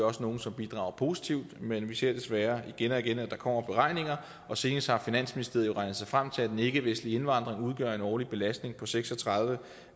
også nogle som bidrager positivt men vi ser desværre igen og igen at der kommer beregninger og senest har finansministeriet jo regnet sig frem til at den ikkevestlige indvandring udgør en årlig belastning på seks og tredive